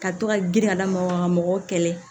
Ka to ka girin ka lamaga mɔgɔw kɛlɛ